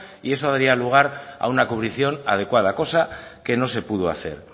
y eso dio lugar a una cubrición adecuada cosa que no se pudo hacer